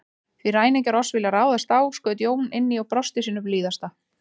Því ræningjar oss vilja ráðast á, skaut Jón inn í og brosti sínu blíðasta.